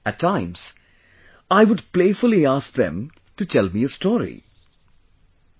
At times, I would playfully ask them to tell me a story...